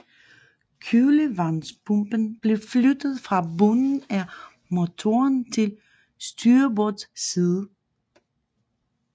Kølevandspumpen blev flyttet fra bunden af motoren til styrbords side